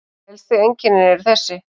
Helstu einkennin eru þessi